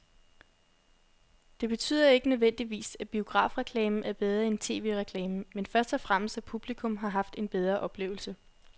Det betyder ikke nødvendigvis, at biografreklamen er bedre end tv-reklamen, men først og fremmest at publikum har haft en bedre oplevelse.